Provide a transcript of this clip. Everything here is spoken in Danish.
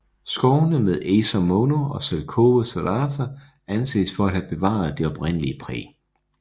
Skovene med Acer mono og Zelkova serrata anses for at have bevaret det oprindelige præg